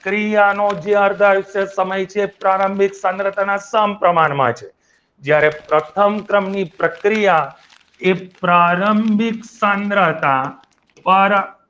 પ્રક્રિયાનો જે અર્ધ આયુષ્ય સમય છે તે પ્રારંભિક સાંદ્રતાના સમપ્રમાણમાં છે જ્યારે પ્રથમ ક્રમની પ્રક્રિયા એ પ્રારંભિક સાંદ્રતા દ્વારા